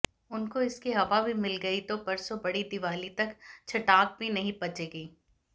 उनको इसकी हवा भी मिल गई तो परसों बड़ी दीवाली तक छंटाक भी नहीं बचेगी